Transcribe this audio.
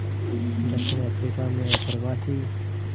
दक्षिण अफ्रीका में अप्रवासी